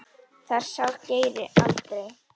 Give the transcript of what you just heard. Það sár greri aldrei.